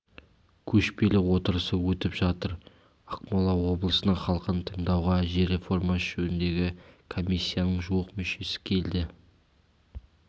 көшпелі отырысы өтіп жатыр ақмола облысының халқын тыңдауға жер реформасы жөніндегі комиссияның жуық мүшесі келді